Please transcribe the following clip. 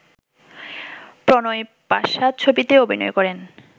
প্রণয় পাশা ছবিতে অভিনয় করেন